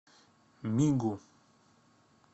мигу